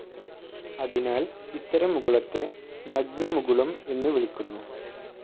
അതിനാൽ ഇത്തരം മുകുളത്തെ നഗ്നമുകുളം എന്നു വിളിക്കുന്നു.